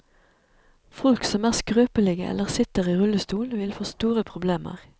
Folk som er skrøpelige eller sitter i rullestol, vil få store problemer.